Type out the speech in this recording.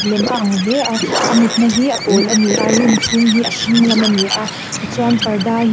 lem a ang hle a a mutna hi a pawl ani a room chhung hi a hring lam a ni a tichuan parda hi--